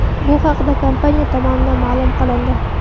Bu haqda kompaniya tomonidan ma’lum qilindi .